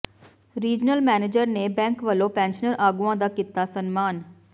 regional manager ਨੇ bank ਵਲੋਂ pensioner ਆਗੂਆਂ ਦਾ ਕੀਤਾ ਸਨਮਾਨ